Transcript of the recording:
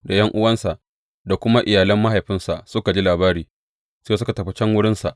Da ’yan’uwansa da kuma iyalan mahaifinsa suka ji labari, sai suka tafi can wurinsa.